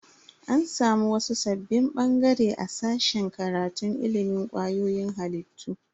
An samu wasu sabbin bangare a sashen karatun ilimin kwayoyin halittu.